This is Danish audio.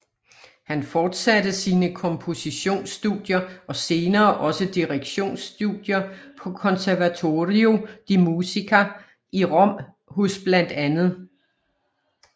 Han forsatte sine kompositions studier og senere også direktions studier på Conservatorio di Musica i Rom hos bla